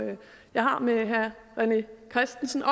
jeg har med herre rené christensen